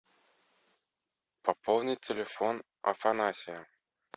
пополнить телефон афанасия